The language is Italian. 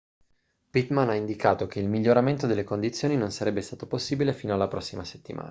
pittman ha indicato che il miglioramento delle condizioni non sarebbe stato possibile fino alla prossima settimana